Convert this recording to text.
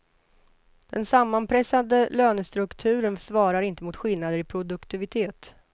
Den sammanpressade lönestrukturen svarar inte mot skillnader i produktivitet.